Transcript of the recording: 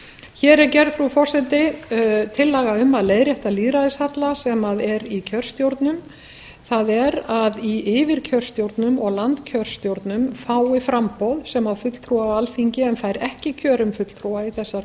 hér er gerð frú forseti tillaga um að leiðrétta lýðræðishalla sem er í kjörstjórnum það er að í yfirkjörstjórnum og landskjörstjórnum fái framboð sem á fulltrúa á alþingi en fær ekki kjörinn fulltrúa í þessar